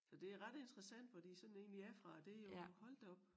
Så det ret interessant fordi sådan en vi er fra det jo hold da op